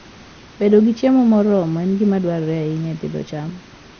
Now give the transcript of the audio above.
Bedo gi chiemo moromo en gima dwarore ahinya e pidho cham.